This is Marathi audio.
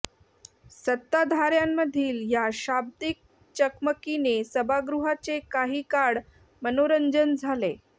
सत्ताधाऱ्यांमधील या शाब्दिक चकमकीने सभागृहाचे काहीं काळ मनोरंजन झाले